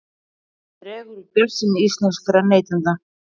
Dregur úr bjartsýni íslenskra neytenda